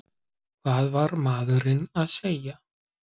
Hvað var maðurinn að segja?